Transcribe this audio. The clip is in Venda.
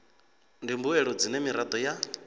ndi mbuelo dzine miraḓo ya